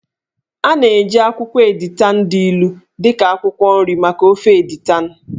A na-eji akwụkwọ editan dị ilu dị ka akwụkwọ nri maka ofe editan.